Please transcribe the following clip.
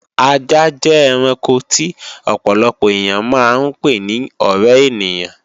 Ajá jẹ́ ẹranko tí ọ̀pọ̀lọpọ̀ èyàn máa ń pè ni ọ̀ré ènìyàn